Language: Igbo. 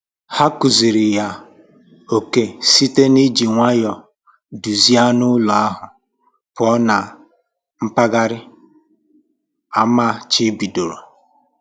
Ha kụziri ya oke site n'iji nwayọ duzie anụ ụlọ ahụ pụọ na mpaghara amachibidoro